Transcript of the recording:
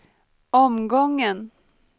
omgången